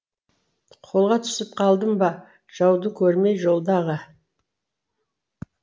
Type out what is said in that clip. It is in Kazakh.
қолға түсіп қалдым ба жауды көрмей жолдағы